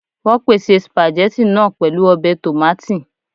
Wọ́n pèsè spaghetti náà pẹ̀lú ọbẹ̀ tòmátì